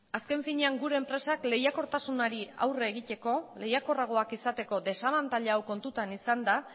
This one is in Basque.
azken finean gure enpresak lehiakortasunari aurre egiteko lehiakorragoak izateko desabantaila hau kontutan izanda